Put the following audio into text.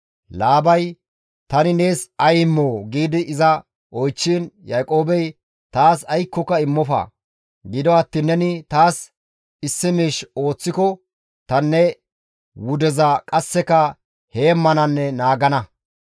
Laabay, «Tani nees ay immoo?» gi iza oychchiin, Yaaqoobey, «Taas aykkoka immofa; gido attiin neni taas issi miish ooththiko tani ne wudeza qasseka heemmananne naagana.